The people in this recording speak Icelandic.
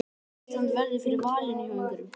Ætli Ísland verði fyrir valinu hjá einhverjum?